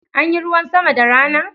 Anyi ruwan sama da rana?